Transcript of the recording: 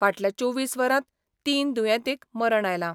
फाटल्या चोवीस वरांत तीन दुयेंतींक मरण आयलां.